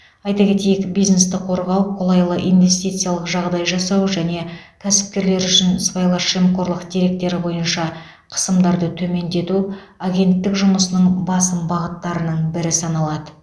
айта кетейік бизнесті қорғау қолайлы инвестициялық жағдай жасау және кәсіпкерлер үшін сыбайлас жемқорлық деректері бойынша қысымдарды төмендету агенттік жұмысының басым бағыттарының бірі саналады